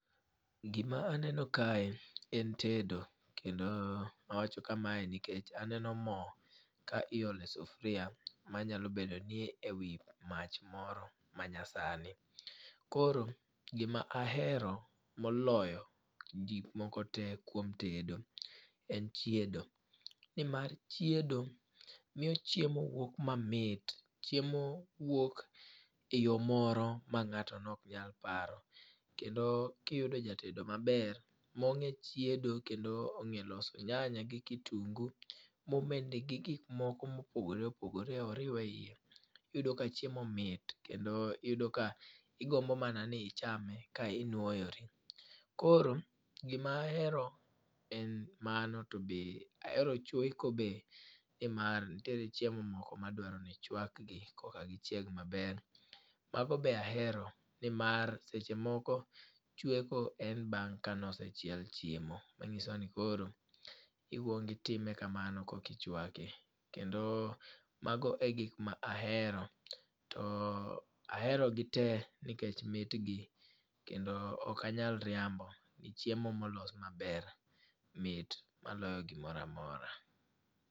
Gima aneno kae en tedo kendo awacho kamae nikech aneno mo ka iole sufria manyalo bedoni e wi mach moro manyasani. Koro gima ahero moloyo gikmoko te kuom tedo en chiedo nimar chiedo miyo chiemo wuok mamit, chiemo wuok e yo moro ma ng'ato noknyal paro. Kendo kiyudo jatedo maber mong'e chiedo kendo ong'e loso nyanya gi kitungu momedni gi gikmoko mopogore opogore oriw e iye, iyudo ka chiemo mit kendo iyudo ka igombo mana ni ichame ka inwoyori. Koro gima ahero en mano to be ahero chweko be nimar ntiere chiemo moko madwaro ni chwakgi koka gichieg maber. Mago be ahero nimar seche moko chweko en bang' kanosechiel chiemo mang'iso ni koro ikuongo itime kamano kokichwake kendo mago e gik ma ahero to aherogi te nikech mitgi kendo okanyal riambo ni chiemo molos maber mit maloyo gimoro amora.